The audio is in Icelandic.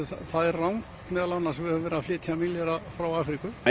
það er rangt að við höfum flutt milljarða frá Afríku það